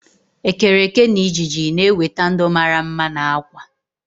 ekereke na ịjiji na-eweta ndụ mara mma na akwa